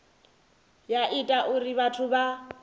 ya ita uri vhathu vha